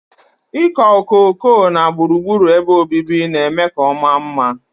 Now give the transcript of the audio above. Ịkọ okooko na gburugburu ebe obibi na-eme ka ọ maa mma.